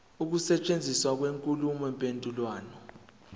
ukusetshenziswa kwenkulumo mpendulwano